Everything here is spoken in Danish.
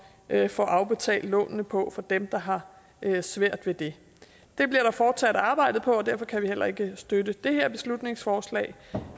at få afbetalt lånene på for dem der har svært ved det det bliver der fortsat arbejdet på og derfor kan vi heller ikke støtte det her beslutningsforslag